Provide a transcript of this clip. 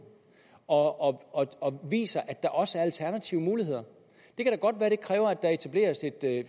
og og viser at der også er alternative muligheder det kan da godt være at det kræver at der etableres et